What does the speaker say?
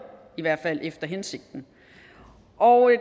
i hvert fald ikke efter hensigten og